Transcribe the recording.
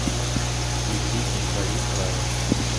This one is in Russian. включи на краю рая